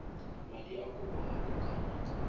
madi a kopo a bokana